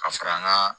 Ka fara an ka